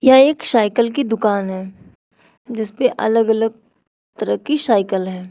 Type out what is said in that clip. यह एक शाइकल की दुकान है जिसपे अलग अलग तरह की शाइकल हैं।